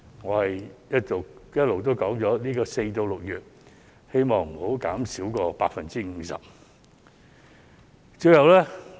我一直提出，希望在4月至6月的租金減免不會少於 50%。